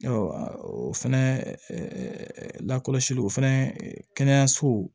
o fɛnɛ lakɔsili o fɛnɛ kɛnɛyaso